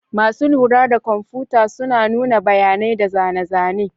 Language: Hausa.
Masu lura da kwamfuta suna nuna bayanai da zane-zane.